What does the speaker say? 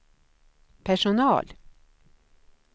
personal